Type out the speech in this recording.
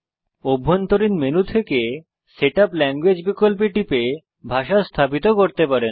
অভ্যন্তরীণ মেনু থেকে setup language বিকল্পে টিপে ভাষা স্থাপিত করতে পারেন